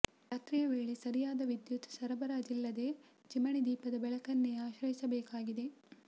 ರಾತ್ರಿಯ ವೇಳೆ ಸರಿಯಾದ ವಿದ್ಯುತ್ ಸರಬರಾಜಿಲ್ಲದೆ ಚಿಮಣಿ ದೀಪದ ಬೆಳಕನ್ನೇ ಆಶ್ರಯಿಸಬೇಕಾಗಿದೆ